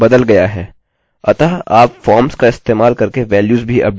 अतः आप फॉर्मस का इस्तेमाल करके वेल्यूस भी अपडेट कर सकते हैं